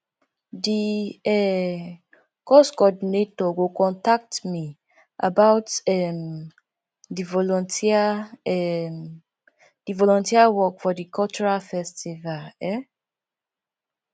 di um course coordinator go contact me about um di volunteer um di volunteer work for di cultural festival um